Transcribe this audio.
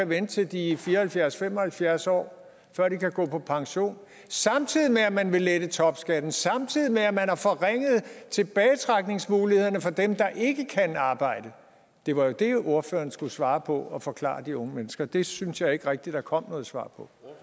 vente til de er fire og halvfjerds til fem og halvfjerds år før de kan gå på pension samtidig med at man vil lette topskatten og samtidig med at man har forringet tilbagetrækningsmulighederne for dem der ikke kan arbejde det var jo det ordføreren skulle svare på og forklare de unge mennesker det synes jeg ikke rigtig der kom noget svar